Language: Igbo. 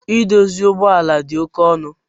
Idozi ugbọala di oke ọnu.